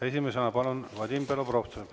Esimesena palun Vadim Belobrovtsev.